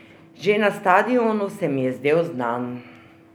Že na stadionu se mi je zdel znan.